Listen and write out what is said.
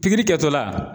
Pikiri kɛtɔla